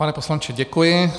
Pane poslanče, děkuji.